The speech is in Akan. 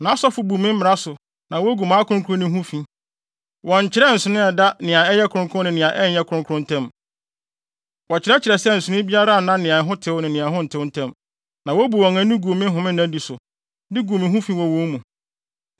Nʼasɔfo bu me mmara so na wogu mʼakronkronne ho fi; wɔnnkyerɛ nsonoe a ɛda nea ɛyɛ kronkron ne nea ɛnyɛ kronkron ntam; wɔkyerɛkyerɛ sɛ nsonoe biara nna nea ɛho ntew ne nea ɛho tew ntam, na wobu wɔn ani gu me homennadi so, de gu me ho fi wɔ wɔn mu.